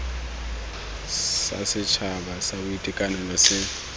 sa setšhaba sa boitekanelo se